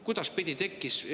Kuidas see tekkis?